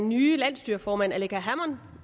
nye landsstyreformand alleqa hammond